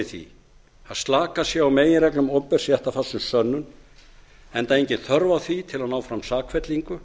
því að slakað sé á meginreglum opinbers réttarfars um sönnun enda engin þörf á því til að ná fram sakfellingu